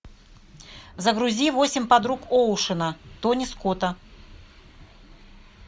загрузи восемь подруг оушена тони скотта